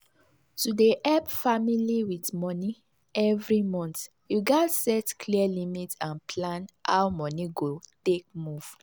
to dey help family with money every month you gats set clear limit and plan how money go take move.